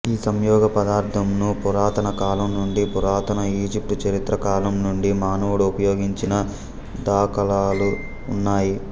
ఈ సంయోగ పదార్థం ను పురాతన కాలం నుండిపురాతన ఇజిప్టుచరిత్ర కాలంనుండి మానవుడు ఉపయోగించిన దాఖాలాలు ఉన్నాయి